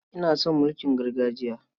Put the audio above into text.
Ina son mulkin gargajiya.